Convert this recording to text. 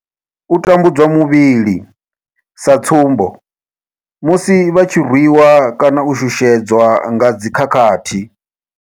U tambudzwa muvhili sa tsumbo, musi vha tshi rwiwa kana u shushedzwa nga dzi khakhathi.